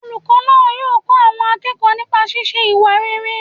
Olùkọ́ náà yóò kọ́ àwọn akẹ́kọ̀ọ́ nipa sísé ìwà rere